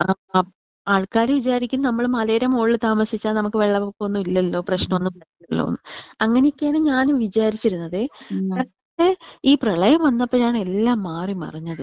ആ ആൾകാർ വിചാരിക്കും നമ്മൾ മലേടെ മോളിൽ താമസിച്ചാൽ നമ്മുക്ക് വെള്ളപൊക്കം ഒന്നും ഇല്ലലോ പ്രശ്നം ഒന്നും ഇല്ലല്ലോന്ന്. അങ്ങനെയൊക്കെയാണ് ഞാനും വിചാരിച്ചിരുന്നതെ. എന്നിട്ട് ഈ പ്രളയം വന്നപ്പോഴാണ് എല്ലാം മാറിമറിഞ്ഞത്.